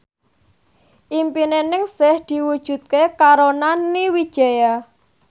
impine Ningsih diwujudke karo Nani Wijaya